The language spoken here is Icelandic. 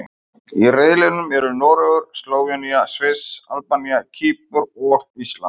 Í riðlinum eru Noregur, Slóvenía, Sviss, Albanía, Kýpur og Ísland.